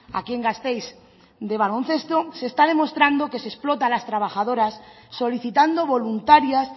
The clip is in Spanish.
aquí en gasteiz de baloncesto se está demostrando que se explota a las trabajadoras solicitando voluntarias